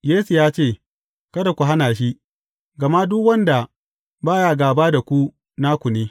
Yesu ya ce, Kada ku hana shi, gama duk wanda ba ya gāba da ku, naku ne.